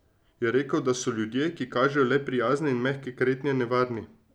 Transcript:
Je rekel, da so ljudje, ki kažejo le prijazne in mehke kretnje, nevarni.